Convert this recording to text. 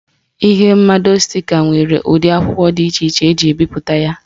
Ihe mmado stika nwere ụdị akwụkwọ dị iche eji ebipụta ya.